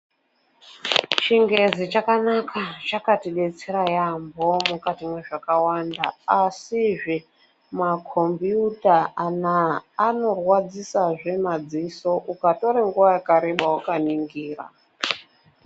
Chingezi chakanaka ,chakatidetsera yaampho, mukati mwezvakawanda. Asizve, makhombiyuta anaa, anorwadzisazve madziso ,mukatore nguwa yakareba wakaningira.